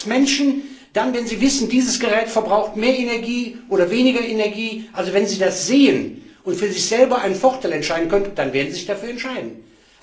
Ich lerne, dass Menschen dann, wenn sie wissen, dieses Gerät verbraucht mehr Energie oder weniger Energie, also wenn sie das sehen und für sich selbst einen Vorteil sehen können, sich dafür entscheiden werden.